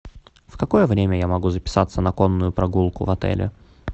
в какое время я могу записаться на конную прогулку в отеле